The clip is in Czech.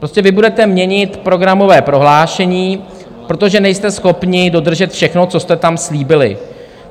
Prostě vy budete měnit programové prohlášení, protože nejste schopni dodržet všechno, co jste tam slíbili.